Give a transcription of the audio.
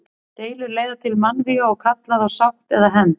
Deilur leiða til mannvíga og kalla á sátt eða hefnd.